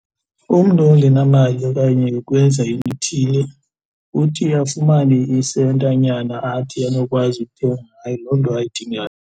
Umntu ongenamali okanye ukwenza into ethile uthi afumane isentanyana athi anokwazi ukuthenga ngayo loo nto ayidingayo.